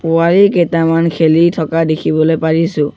পুৱাৰি কেতামান খেলি থকা দেখিবলৈ পাৰিছোঁ।